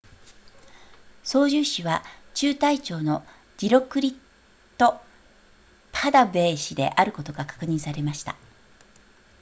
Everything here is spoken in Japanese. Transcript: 操縦士は中隊長のディロクリットパタヴェー氏であることが確認されました